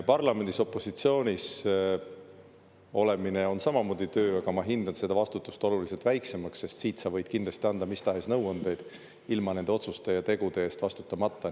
Parlamendis opositsioonis olemine on samamoodi töö, aga ma hindan seda vastutust oluliselt väiksemaks, sest siit sa võid kindlasti anda mis tahes nõuandeid ilma nende otsuste ja tegude eest vastutamata.